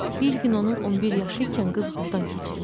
Bir gün onun 11 yaşı ikən qız burdan keçirmiş.